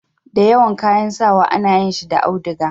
da yawan kayan sawa a na yin shi da auduga